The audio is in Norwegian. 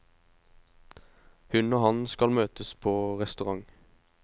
Hun og han skal møtes på restaurant.